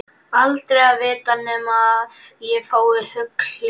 Aldrei að vita nema ég fái hugljómun.